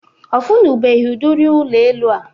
Ọ funubeghi udiri ụlọ elu a